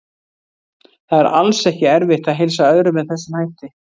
Það er alls ekki erfitt að heilsa öðrum með þessum hætti.